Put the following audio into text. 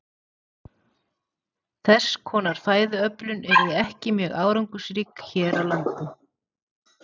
Þess konar fæðuöflun yrði ekki mjög árangursrík hér á landi.